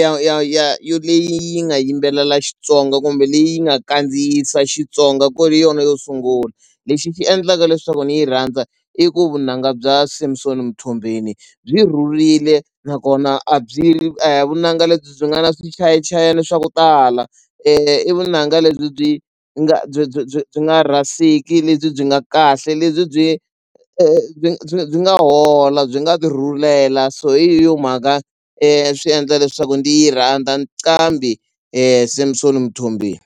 ya ya ya ya leyi yi nga yimbelela Xitsonga kumbe leyi nga kandziyisa Xitsonga ku ri yona yo sungula. Lexi xi endlaka leswaku ni yi rhandza i ku vunanga bya Samsom Mthombenu byi rhurile nakona a byi a hi vunanga lebyi byi nga na swichayachayani swa ku tala i vunanga lebyi byi nga byi byi byi byi nga rhasiki lebyi byi nga kahle lebyi byi byi byi nga hola byi nga byi tirhulela so hi yo mhaka swi endla leswaku ndzi yi rhandza nqambi Samsom Mthombeni.